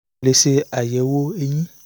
ṣe àyẹ̀wò eyín